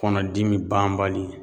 Kɔnɔdimi banbali